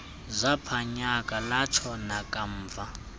zaphanyaka latsho nekamva